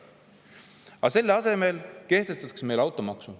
Aga selle asemel kehtestatakse meil automaks.